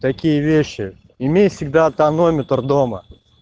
такие вещи имей всегда тонометр дома